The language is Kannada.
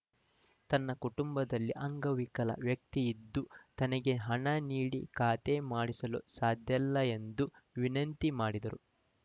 ತನ್ನ ಕುಟುಂಬದಲ್ಲಿ ಅಂಗವಿಕಲ ವ್ಯಕ್ತಿಯಿದ್ದು ತನಗೆ ಹಣ ನೀಡಿ ಖಾತಾ ಮಾಡಿಸಲು ಸಾಧ್ಯಲ್ಲ ಎಂದು ವಿನಂತಿ ಮಾಡಿದರು